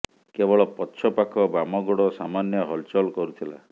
କେବଳ ପଛ ପାଖ ବାମ ଗୋଡ଼ ସାମାନ୍ୟ ହଲଚଲ କରୁଥିଲା